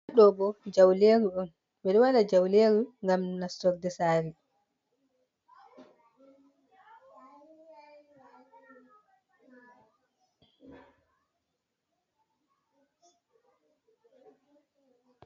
Ɗobo jauleru on, ɓeɗo wada jauleru ngam nastorɗe sare.